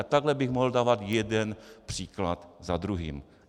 A takhle bych mohl dávat jeden příklad za druhým.